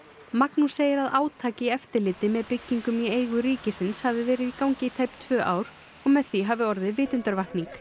Magnús segir að átak í eftirliti með byggingum í eigum ríkisins hafi verið í gangi í tæp tvö ár og með því hafi orðið vitundarvakning